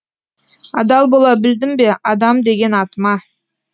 адал бола білдім бе адам деген атыма